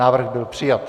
Návrh byl přijat.